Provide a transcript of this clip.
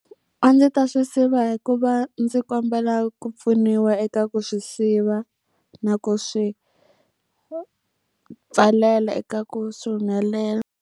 A ndzi ta swi siva hi ku va ndzi kombela ku pfuniwa eka ku swi siva, na ku swi pfalela eka ku swi humelela.